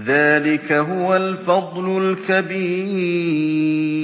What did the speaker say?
ذَٰلِكَ هُوَ الْفَضْلُ الْكَبِيرُ